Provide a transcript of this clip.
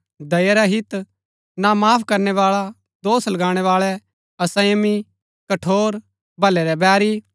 दया रहित ना माफ करनै बाळा दोष लगाणै बाळै असंयमी कठोर भलै रै बैरी